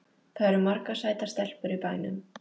Það eru margar sætar stelpur í bænum.